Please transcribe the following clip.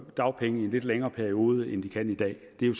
dagpenge i en lidt længere periode end de kan i dag det er